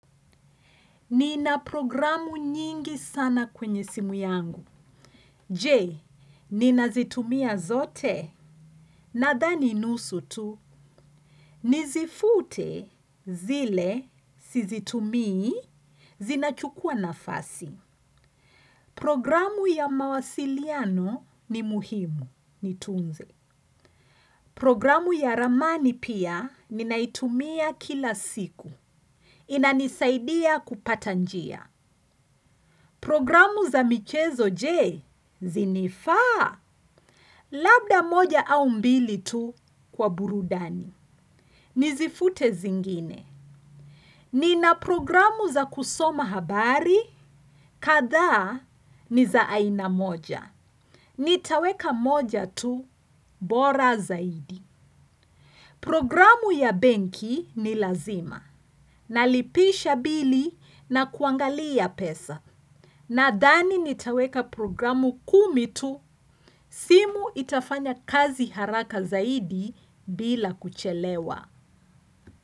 Nina programu nyingi sana kwenye simu yangu. Je, ninazitumia zote? Nadhani nusu tu, nizifute zile, sizitumii, zinachukua nafasi. Programu ya mawasiliano ni muhimu, niitunze. Programu ya ramani pia, ninaitumia kila siku. Inanisaidia kupata njia. Programu za michezo je, zinifaa? Labda moja au mbili tu kwa burudani. Nizifute zingine. Nina programu za kusoma habari, kadhaa ni za aina moja. Nitaweka moja tu, bora zaidi. Programu ya benki ni lazima. Nalipisha bili na kuangalia pesa. Nadhani nitaweka programu kumi tu simu itafanya kazi haraka zaidi bila kuchelewa.